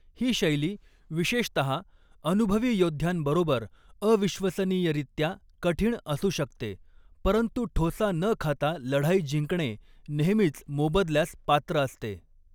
ही शैली, विशेषतः अनुभवी योद्ध्यांबरोबर अविश्वसनीयरीत्या कठीण असू शकते, परंतु ठोसा न खाता लढाई जिंकणे नेहमीच मोबदल्यास पात्र असते.